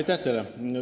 Aitäh teile!